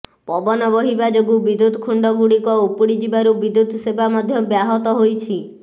ପବନ ବହିବା ଯୋଗୁଁ ବିଦ୍ୟୁତ ଖୁଣ୍ଟଗୁଡ଼ିକ ଉପୁଡ଼ି ଯିବାରୁ ବିଦ୍ୟୁତ ସେବା ମଧ୍ୟ ବ୍ୟାହତ ହୋଇଛି